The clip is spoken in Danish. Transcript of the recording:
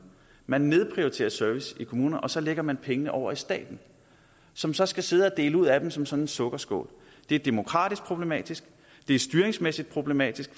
man nedprioriterer servicen i kommunerne og så lægger man pengene over i staten som så skal sidde og dele ud af dem som fra en sukkerskål det er demokratisk problematisk det er styringsmæssigt problematisk